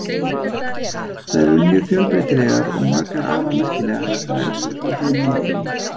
Þær eru mjög fjölbreytilegar og margar afar merkilegar, þær elstu frá því um landnám.